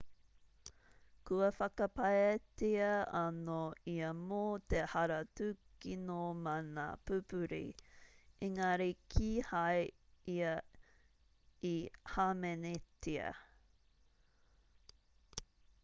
kua whakapaetia anō ia mō te hara tūkino mana pupuri engari kīhai ia i hāmenetia